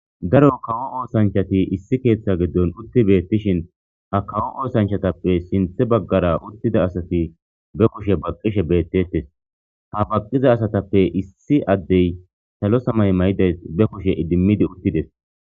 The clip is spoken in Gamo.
Daro kawo oosanchati issi keeththa giddon utti beettishin ha kawo oosanchatappe sinthe baggara uttida asati be kushe baqqishe beettettes ha baqqiza asatappe issi addey salo samay may7idays be kushe idimmidi uttides.